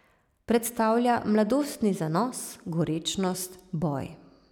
Predstavlja mladostni zanos, gorečnost, boj.